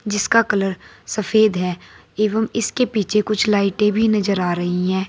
जिसका कलर सफेद है एवं इसके पीछे कुछ लाइटें भी नजर आ रही हैं।